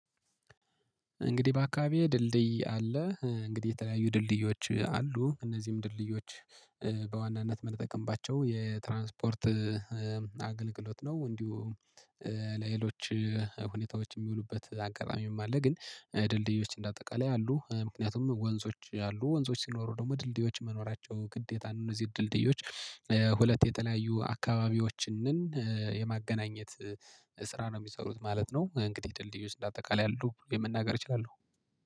እንግዲህ በአካባቢዬ ድልድይ አለ እንግዲህ የተለያዩ ድልድዮች አሉ እነዚህም ድልድዮች በዋናነት ምንጠቀምባቸው የትራንስፖርት አገልግሎት ነው። እንዲሁም ለሌሎች ሁኔታዎች የሚውሉበት አጋጣሚም አለ። ግን ድልድዮች እንደ አጠቃላይ አሉ ምክንያቱም ወንዞች አሉ ወንዞች ሲኖሩ ደግሞ ድልድዮች መኖራቸው ግዴታ ነው። እነዚህ ድልድዮች ሁለት የተለያዩ አካባቢዎችንን የማገናኘት ስራ ነው የሚሰሩት ማለት ነው። እንግዲህ ድልድዮች እንደ አጠቃላይ አሉ ብዬ መናገር እችላለሁ